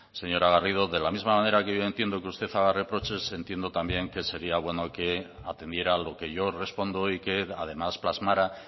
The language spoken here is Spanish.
señora garrido de la misma manera que yo entiendo que usted haga reproches entiendo también que sería bueno que atendiera a lo que yo respondo y que además plasmara